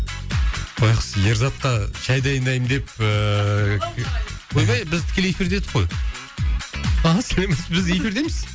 байғұс ерзатқа шай дайындаймын деп ыыы ойбай біз тікелей эфирде едік қой біз эфирдеміз